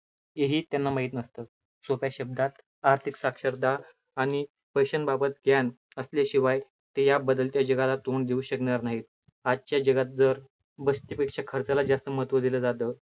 हे ही त्यांना माहित नसतं. सोप्या शब्दात आर्थिक साक्षरता आणि पैशांबाबत ज्ञान असल्याशिवाय ते या बदलत्या जगाला तोंड देऊ शकणार नाही. आजच्या जगात जर पेक्षा खर्चाला जास्त महत्व दिलं जातं.